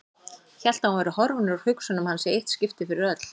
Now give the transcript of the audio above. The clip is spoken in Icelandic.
Hélt að hún væri horfin úr hugsunum hans í eitt skipti fyrir öll.